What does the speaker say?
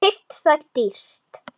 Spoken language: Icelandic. Keypt það dýrt.